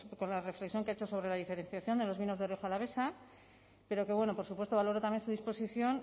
con la reflexión que ha hecho sobre la diferenciación de los vinos de rioja alavesa pero que bueno por supuesto valoro también su disposición